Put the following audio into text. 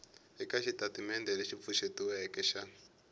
eka xitatimendhe lexi pfuxetiweke xa